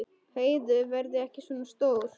Heiðu verði ekki svona stór.